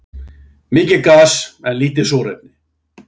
Mikið gas en lítið súrefni